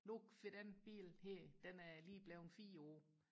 nu den bil her den er lige blevet fire år